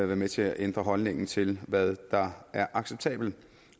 være med til at ændre holdningen til hvad der er acceptabelt